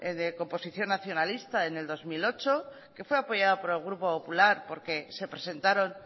de composición nacionalista en el dos mil ocho que fue apoyado por el grupo popular porque se presentaron